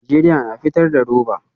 Najeriya na fitar da roba?